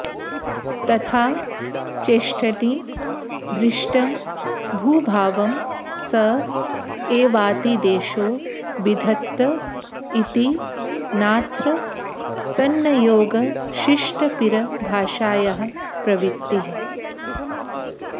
तथा चेष्ठनि दृष्टं भूभावं स एवातिदेशो विधत्त इति नात्र सन्नयोगशिष्टपिरभाषायाः प्रवृत्तिः